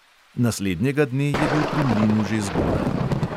Naslednjega dne je bil pri mlinu že zgodaj.